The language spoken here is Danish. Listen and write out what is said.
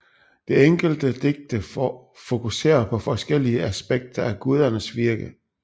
De enkelte digte fokuserer på forskellige aspekter af gudernes virke